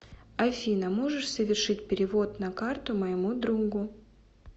афина можешь совершить перевод на карту моему другу